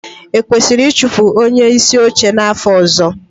Ekwesịrị ịchụpụ onyeisi oche n'afọ ọzọ?